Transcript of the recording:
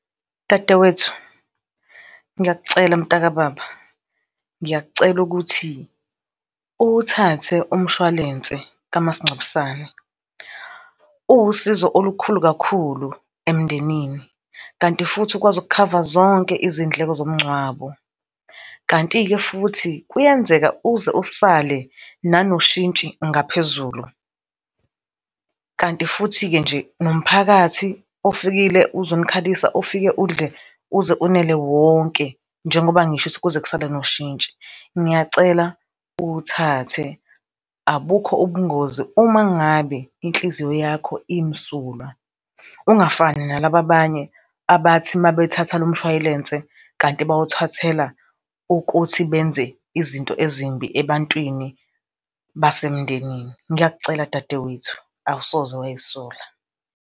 Dadewethu, ngiyakucela mntakababa, ngiyakucela ukuthi uwuthathe umshwalense kamasingcwabisane, uwusizo olukhulu kakhulu emndenini kanti futhi ukwazi ukukhava zonke izindleko zomngcwabo, kanti-ke futhi kuyenzeka uze usale nanoshintshi ngaphezulu. Kanti futhi-ke nje nomphakathi ofikile uzonikhalisa ufike udle uze unele wonke njengoba ngisho ukuthi kuze kusale noshintshi. Ngiyacela uwuthathe, abukho ubungozi uma ngabe inhliziyo yakho imsulwa, ungafani nalaba abanye abathi uma bethatha lo mshwalense kanti bawuthathela ukuthi benze izinto ezimbi ebantwini basemndenini. Ngiyakucela dadewethu, awusoze wayisola.